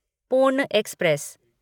पूर्ण एक्सप्रेस